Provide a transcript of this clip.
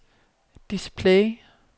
display